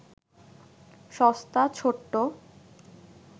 সস্তা ছোট্ট